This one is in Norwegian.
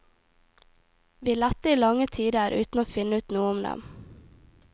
Vi lette i lange tider uten å finne ut noe om dem.